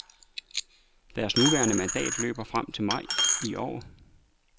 Deres nuværende mandat løber til femte maj i år.